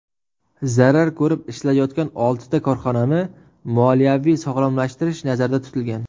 Zarar ko‘rib ishlayotgan oltita korxonani moliyaviy sog‘lomlashtirish nazarda tutilgan.